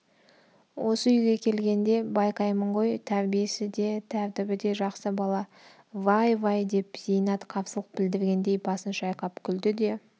осы үйге келгенде байқаймын ғой тәрбиесі де тәртібі де жақсы бала вай вай деп зейнат қарсылық білдіргендей басын шайқап күлді де